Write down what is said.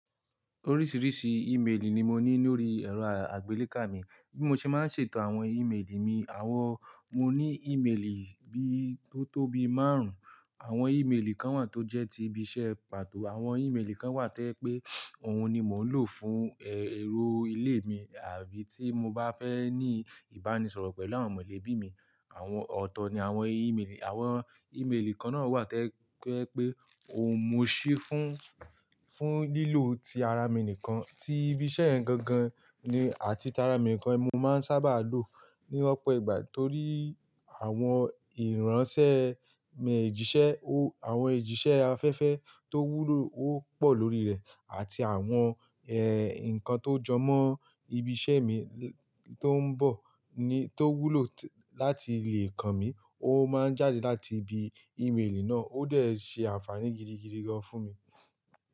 Oríṣìíríṣìí íméelì ni mo ní lórí ẹ̀rọ àgbélé kà mi. Bí mo ṣe máa ń ṣètò àwọn íméelì mi àwọn, mo ní ímeélì bí tó tó bii márùn-ún. Àwọn íméelì kan wà tó jẹ́ ti ibi iṣẹ́ pàtó. Àwọn ímélì kan wà to je pé òun ni mò ń lò fún, ẹ, ero ilé mi àbí tí mo bá fẹ́ ní ìbánisọ̀rọ̀ pẹ̀lú àwọn mọ̀lẹ́bí mi. Àwọn ọ̀tọ̀ ni àwọn íméelì. Àwọn ímeélì kan náà wà to je pé pé òun mo ṣí fún, fún lílò ti ara mi nìkan. Ti ibi iṣẹ́ yen gan gan ni àti ti ara mi nìkan. Èmi máa ń sábà lò ní ọ̀pọ̀ ìgbà torí àwọn ìránṣẹ́ mi èjìṣẹ́ o àwọn èjìṣẹ́ afẹ́fẹ́ tó wúlò ó pọ̀ lórí rẹ̀ àti àwọn, ẹ, nǹkan tó jọmọ́ ibi iṣẹ́ mi tó ń bọ̀ ni tó wúlò láti lè kàn mí. Ó máa ń jáde láti ibi ímélì náà. Ó dẹ̀ ṣe àǹfààní gidigidi gan fún mi.